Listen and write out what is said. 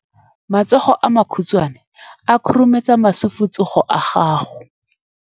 matsogo a makhutshwane a khurumetsa masufutsogo a gago